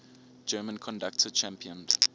german conductor championed